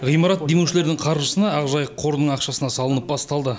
ғимарат демеушілердің қаржысына ақжайық қорының ақшасына салынып басталды